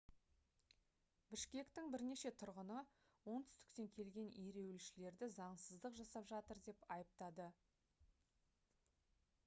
бішкектің бірнеше тұрғыны оңтүстіктен келген ереуілшілерді заңсыздық жасап жатыр деп айыптады